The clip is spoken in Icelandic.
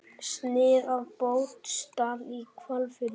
Snið af Botnsdal í Hvalfirði.